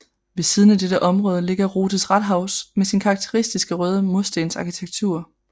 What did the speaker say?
Ved siden af dette område ligger Rotes Rathaus med sin karakteristiske røde murstensarkitektur